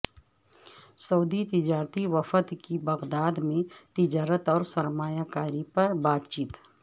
سعودی تجارتی وفد کی بغداد میں تجارت اور سرمایہ کاری پر بات چیت